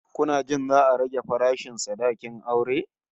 Kuna jin za'a rage farashin sadakin aure?